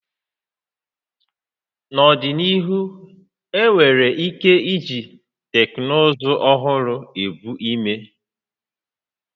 N'ọdịnihu, enwere ike iji teknụzụ ọhụrụ ebu ime